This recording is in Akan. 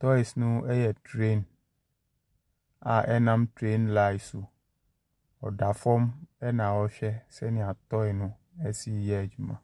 Toys no yɛ train a ɛnam train line so. Ɔda fam na ɔrehwɛ sɛnea toy si yɛ adwuma.